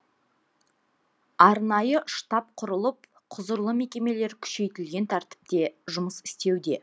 арнайы штаб құрылып құзырлы мекемелер күшейтілген тәртіпте жұмыс істеуде